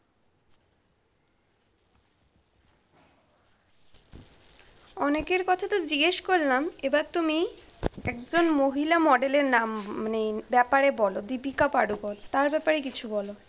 অনেকের কথা তো জিজ্ঞেস করলাম এবার তুমি একজন মহিলা model এর নাম মানে ব্যাপারে বল দীপিকা পাডুকোন তার ব্যাপারে কিছু বলো।